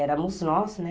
Éramos nós, né?